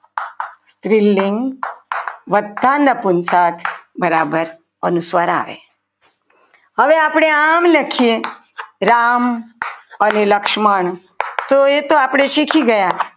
સ્ત્રીલિંગ વતા નપુંસક બરાબર અનુસ્વાર આવે હવે આપણે આમ લખીએ રામ અને લક્ષ્મણ તો એ તો આપણે શીખી ગયા.